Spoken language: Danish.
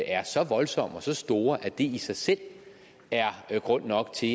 er så voldsomme og så store at det i sig selv er grund nok til